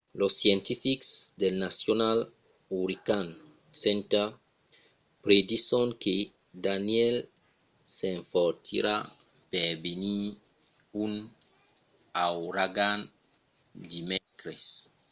los scientifics del national hurricane center predison que danielle s'enfortirà per venir un auragan dimècres